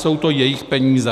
Jsou to jejich peníze.